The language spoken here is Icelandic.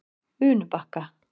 Unubakka